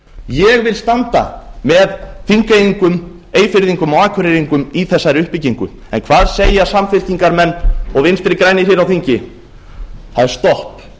ég vil standa með þingeyingum eyfirðingum og akureyringum í þessari uppbyggingu en hvað segja samfylkingarmenn og vinstri grænir hér á þingi það er stopp